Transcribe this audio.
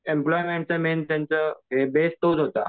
एम्प्लॉयमेंटचं main त्यांचा base तोच होता.